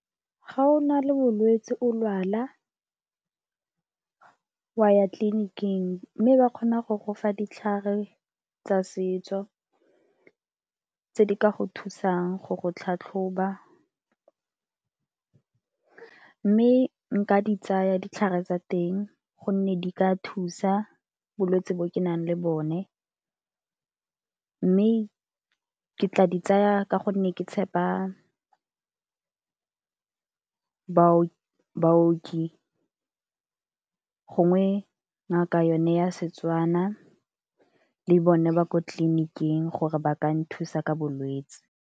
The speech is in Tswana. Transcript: Ga o na le bolwetsi o lwala, wa ya tleliniking mme ba kgona go gofa ditlhare tsa setso tse di ka go thusang go go tlhatlhoba. Mme nka di tsaya ditlhare tsa teng gonne di ka thusa bolwetse bo ke nang le bone, mme ke tla di tsaya ka gonne ke tshepa baoki gongwe ngaka yone ya Setswana le bone ba ko tleliniking gore ba ka nthusa ka bolwetsi.